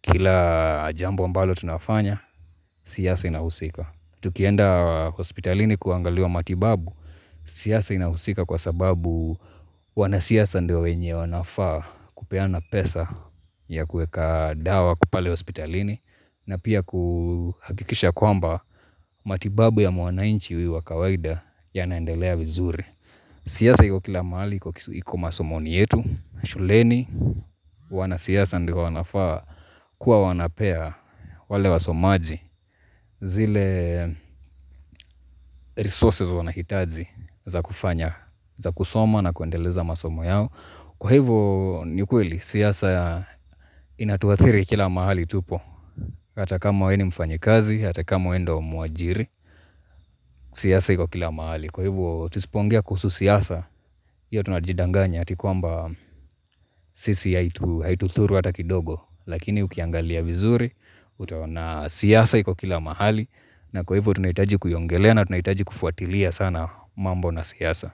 kila jambo ambalo tunafanya, siasa inahusika. Tukienda hospitalini kuangaliwa matibabu, siasa inahusika kwa sababu wanasiasa ndio wenye wanafaa kupeana pesa ya kueka dawa pale hospitalini na pia kuhakikisha kwamba matibabu ya mwananchi huyu wa kawaida yanaendelea vizuri. Siasa hiko kila mahali, iko masomoni yetu, shuleni, wanasiasa ndio wanafaa kuwa wanapea wale wasomaji zile resources wanahitazi za kufanya, za kusoma na kuendeleza masomo yao Kwa hivo, ni kweli, siasa inatuathiri kila mahali tupo Hata kama we ni mfanyikazi, hata kama we ndio mwajiri, siasa hiko kila mahali Kwa hivo, tusipoongea kuhusu siasa, hiyo tunajidanganya ati kwamba sisi haitudhuru hata kidogo, lakini ukiangalia vizuri, utaona siasa iko kila mahali, na kwa hivyo tunahitaji kuiongelea na tunahitaji kufuatilia sana mambo na siasa.